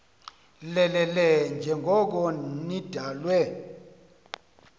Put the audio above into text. lelele njengoko nidalwe